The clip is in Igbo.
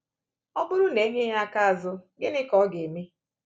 Ọ bụrụ na e nye ya aka azụ, gịnị ka ọ ga-eme?